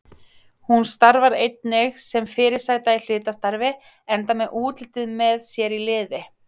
Hún starfar einnig sem fyrirsæta í hlutastarfi enda með útlitið með sér í liði.